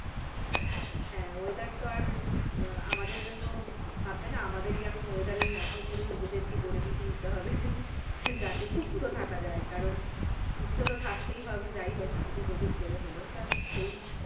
হ্যাঁ weather তো আর আমাদের জন্য ভাববে না আমাদের ই এখন weather এর মতো করে নিজেদের কে গড়ে পিঠে নিতে হবে যাতে সুস্থ থাকা যায় কারন সুস্থ তো থাকতেই হবে যাই হোক এদিক ওদিক করে হলেও তা সেই,